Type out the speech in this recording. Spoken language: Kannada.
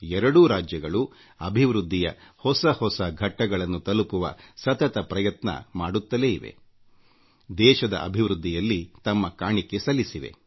ಎರಡೂ ರಾಜ್ಯಗಳು ಅಭಿವೃದ್ಧಿಯ ಹೊಸ ಎತ್ತರ ತಲುಪಿವ ಮತ್ತು ದೇಶದ ಅಭಿವೃದ್ಧಿಯಲ್ಲಿ ತಮ್ಮ ಕಾಣಿಕೆ ಸಲ್ಲಿಸುತ್ತಿವೆ